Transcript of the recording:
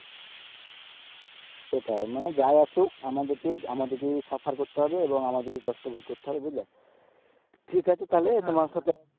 সেটাই মানে যাই আসুক আমাদেরকেই আমাদেরকেই suffer করতে হবে এবং আমাদেরকেই কষ্ট ভোগ করতে হবে বুঝলে ঠিক আছে তালে তোমার সাথে